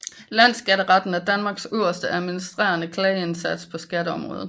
Landsskatteretten er Danmarks øverste administrative klageinstans på skatteområdet